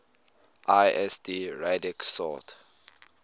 lsd radix sort